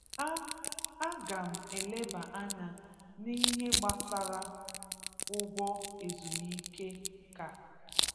A A ga m eleba anya n'ihe gbasara ụgwọ ezumike nka